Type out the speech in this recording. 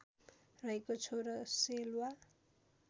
रहेको छो र सेल्वा